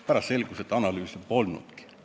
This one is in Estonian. Pärast selgus, et analüüse polnudki.